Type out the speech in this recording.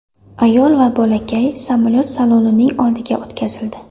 Ayol va bolakay samolyot salonining oldiga o‘tkazildi.